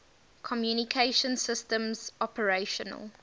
communication systems operational